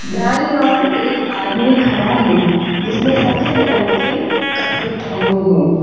दाई और एक आदमी खड़ा है जिसने सफेद रंग के कपड़े पहने हैं।